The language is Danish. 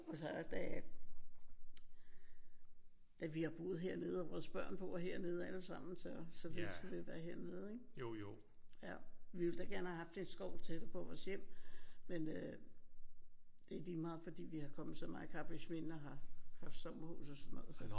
Og så er da da vi har boet hernede og vores børn bor hernede alle sammen så vidste vi ville være hernede ik? Vi ville da gerne have haft en skov tættere på vores hjem men øh det er lige meget fordi vi er kommet så meget i Karrebæksminde og har haft sommerhus og sådan noget så